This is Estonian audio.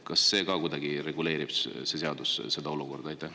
Kas see seadus reguleerib kuidagi ka seda olukorda?